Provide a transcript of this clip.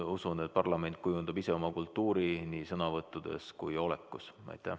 Ma usun, et parlament kujundab ise oma kultuuri nii sõnavõttudes kui ka olekus.